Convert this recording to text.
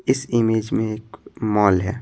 इस इमेज में एक मॉल है।